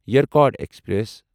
Yercaud express